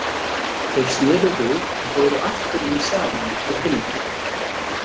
Þeir sneru við og fóru aftur inn í salinn til hinna.